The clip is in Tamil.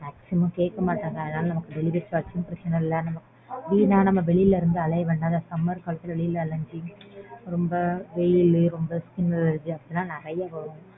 Maximum கேக்கமாட்டாங்க. அதனால நமக்கு delivery charge ம் பிரச்சனை இல்ல. வீணா நம்ம வெளில இருந்து அலைய வேண்டாம். இந்த summer ல வெளில அலைஞ்சு ரொம்ப வெயில் skin allergy லாம் நறைய வரும்.